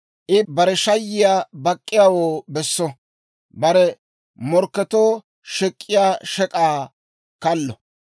I bare shayiyaa bak'k'iyaawoo besso; bare morkketuu shek'k'iyaa shek'aakka kallo.